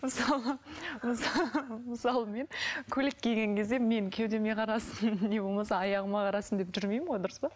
мысалы мысалы мен көйлек киген кезде менің кеудеме қарасын немесе аяғыма қарасын деп жүмеймін ғой дұрыс па